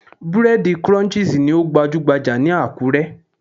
Búrẹ́dì Crunchies ni ó gbajúhbajà ní Àkúré.